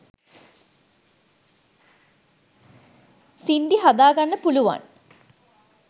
සින්ඩි හදාගන්න පුළුවන්